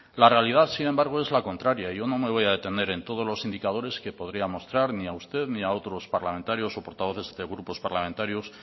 la realidad sin embargo es la contraria yo no me voy a detener en todos los indicadores que podía mostrar ni a usted ni a otros parlamentarios o portavoces de grupos parlamentarios